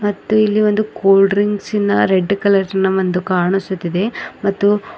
ಮತ್ತು ಇಲ್ಲಿ ಒಂದು ಕೂಲ್ ಡ್ರಿಂಕ್ಸ್ನ ರೆಡ್ ಕಲರ್ ನ ಒಂದು ಕಾಣಿಸುತ್ತಿದೆ ಮತ್ತು--